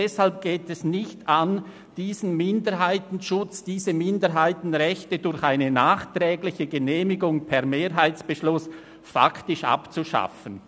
Deshalb geht es nicht an, diesen Minderheitenschutz beziehungsweise diese Minderheitenrechte durch eine nachträgliche Genehmigung per Mehrheitsbeschluss faktisch abzuschaffen.